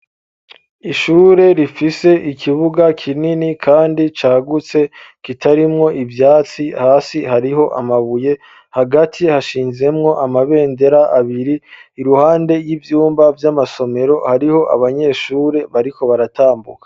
Ishure rifise ikibuga kinini kandi cagutse kitarimwo ivyatsi hasi hariho amabuye hagati hashinzemwo amabendera abiri iruhande y'ivyumba by'amasomero hariho abanyeshure bariko baratambuka.